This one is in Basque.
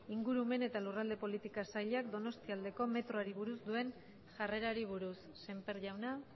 ingurumen eta lurralde politika sailak donostialdeko metroari buruz duen jarrerari buruz semper jauna